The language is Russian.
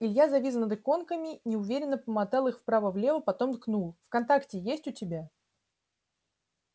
илья завис над иконками неуверенно помотал их вправо влево потом ткнул вконтакте есть у тебя